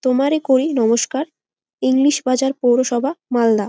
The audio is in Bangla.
তোমারে করি নমস্কার ইংলিশ বাজার পৌরসভা মালদা।